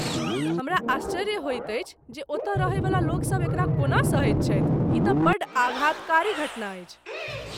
हमरा आश्चर्य होइत अछि जे ओतऽ रहैवला लोकसभ एकरा कोना सहैत छथि, ई तँ बड्ड आघातकारी घटना अछि।